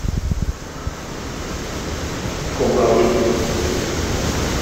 когалым